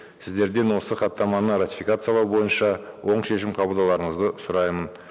сіздерден осы хаттаманы ратификациялау бойынша оң шешім қабылдауларыңызды сұраймын